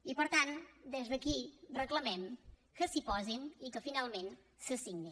i per tant des d’aquí reclamem que s’hi posin i que finalment se signi